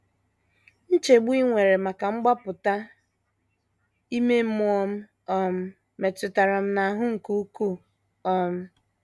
Nchegbu i nwere maka mgbapụta ime mmụọ m um metụrụ m n’ahụ nke ukwuu um.